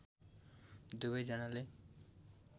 दुबै जानाले